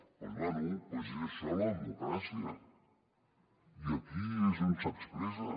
bé doncs és això la democràcia i aquí és on s’expressa